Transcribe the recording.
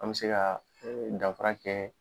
An be se ka danfa kɛ